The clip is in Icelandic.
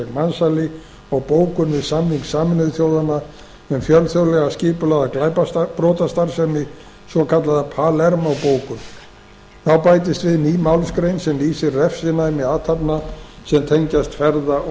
gegn mansali og bókun við samning sameinuðu þjóðanna um fjölþjóðlega skipulagða brotastarfsemi svokallaða palermó bókun þá bætist við ný málsgrein sem lýsir refsinæmi athafna sem tengjast ferða og